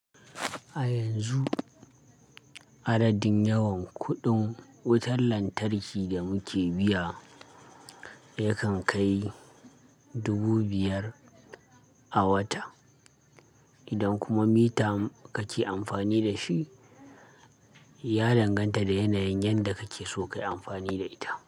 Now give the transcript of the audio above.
A yanzu adadin yawan kuɗin wutar lantarki da muke biya yakan kai dubu biyar a wata. Idan kuma mita kake amfani da shi, ya danganta da yanayin yanda kake so kayi amfani da ita.